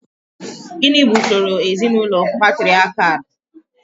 Gịnị bụ usoro ezinaụlọ patriakial?